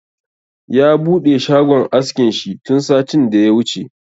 Ya buɗe shagon askin shi tun satin da ya wuce